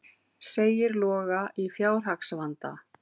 Segir Loga í fjárhagsvanda